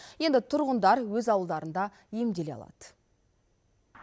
енді тұрғындар өз ауылдарында емделе алады